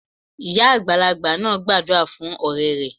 Ìyá àgbàlagbà náà gbàdúrà fún òré rẹ̀